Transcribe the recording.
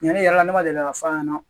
Ɲɛnɛ yala ne ma deli ka f'a ɲɛna